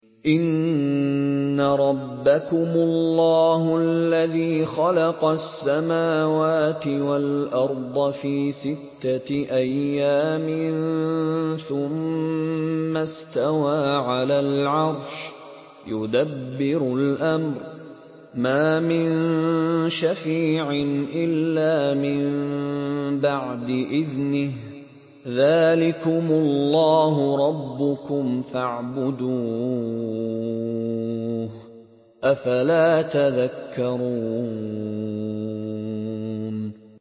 إِنَّ رَبَّكُمُ اللَّهُ الَّذِي خَلَقَ السَّمَاوَاتِ وَالْأَرْضَ فِي سِتَّةِ أَيَّامٍ ثُمَّ اسْتَوَىٰ عَلَى الْعَرْشِ ۖ يُدَبِّرُ الْأَمْرَ ۖ مَا مِن شَفِيعٍ إِلَّا مِن بَعْدِ إِذْنِهِ ۚ ذَٰلِكُمُ اللَّهُ رَبُّكُمْ فَاعْبُدُوهُ ۚ أَفَلَا تَذَكَّرُونَ